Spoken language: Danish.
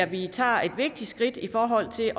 vi tager et vigtigt skridt i forhold til at